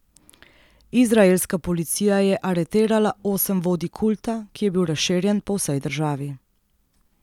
Izraelska policija je aretirala osem vodij kulta, ki je bil razširjen po vsej državi.